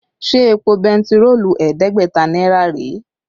Ṣé èpò bentiroolu ẹ̀ẹ́dẹ́gbẹ̀ta náírà rèé?